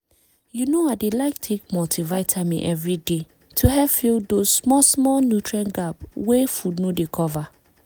you know i dey like take multivitamin every day to help fill those small-small nutrient gap wey food no dey cover